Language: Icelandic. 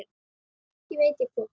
Ekki veit ég hvort